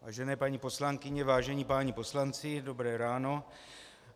Vážené paní poslankyně, vážení páni poslanci, dobré ráno.